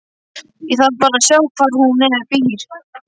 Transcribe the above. Ég þarf bara að sjá hvar hún býr.